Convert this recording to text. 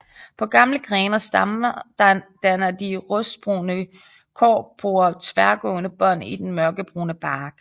På gamle grene og stammer danner de rustbrune korkporer tværgående bånd i den mørkebrune bark